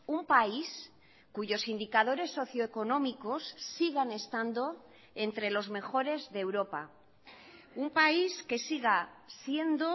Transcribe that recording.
un país cuyos indicadores socioeconómicos sigan estando entre los mejores de europa un país que siga siendo